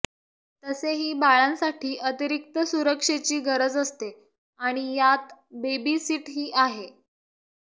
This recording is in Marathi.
तसेही बाळांसाठी अतिरिक्त सुरक्षेची गरज असते आणि यात बेबी सीटही आहे